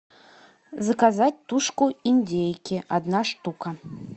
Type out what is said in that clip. заказать тушку индейки одна штука